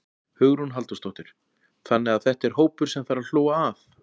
Hugrún Halldórsdóttir: Þannig að þetta er hópur sem að þarf að hlúa að?